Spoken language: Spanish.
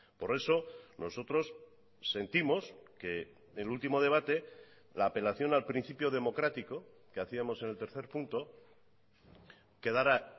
por eso nosotros sentimos que el último debate la apelación al principio democrático que hacíamos en el tercer punto quedara